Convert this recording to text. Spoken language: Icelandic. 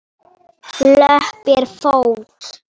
Löpp er fót.